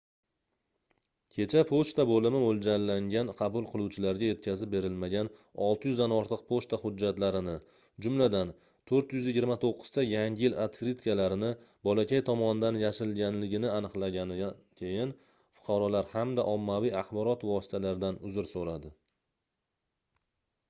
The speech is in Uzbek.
kecha pochta boʻlimi moʻljallangan qabul qiluvchilariga yetkazib berilmagan 600 dan ortiq pochta hujjatlarini jumladan 429 ta yangi yil otkritkalarini bolakay tomonidan yashirilganligini aniqlaganidan keyin fuqarolar hamda ommaviy axborot vositalaridan uzr soʻradi